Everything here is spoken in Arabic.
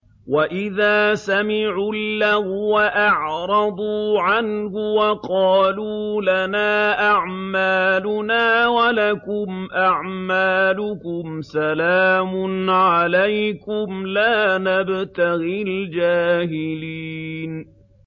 وَإِذَا سَمِعُوا اللَّغْوَ أَعْرَضُوا عَنْهُ وَقَالُوا لَنَا أَعْمَالُنَا وَلَكُمْ أَعْمَالُكُمْ سَلَامٌ عَلَيْكُمْ لَا نَبْتَغِي الْجَاهِلِينَ